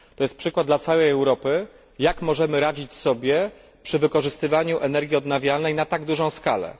To jest przykład dla całej Europy, jak możemy sobie radzić przy wykorzystywaniu energii odnawialnej na tak dużą skalę.